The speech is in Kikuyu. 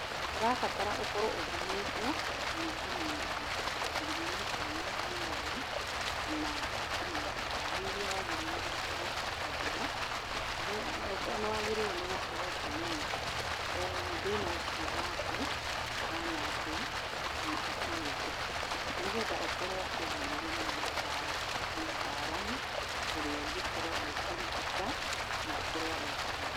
Kũrabatara ũkorwo ũthimĩtwo na ũkamenyeka mũrimũ ũrĩa wĩnaguo na ũkamenyeka ndawa iria waagĩrĩirwo nĩ gũkorwo ũkĩhũthĩra. Then nĩ waagĩrĩirwo nĩ gũkorwo ũkĩmenya thĩna ũcio waku ũhana atĩa na ũkinyĩte ha, nĩgetha ũkorwo ũkĩaranĩria na mũtaaramu ũrĩa ũngĩkorwo agĩkũrigita na akorwo agĩkũmenya.